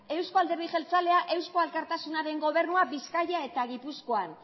euzko alderdi jeltzalea eusko alkartasunaren gobernua bizkaia eta gipuzkoan